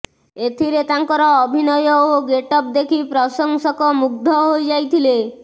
ଏଥିରେ ତାଙ୍କର ଅଭିନୟ ଓ ଗେଟଅପ୍ ଦେଖି ପ୍ରଶଂସକ ମୁଗ୍ଧ ହୋଇଯାଇଥିଲେ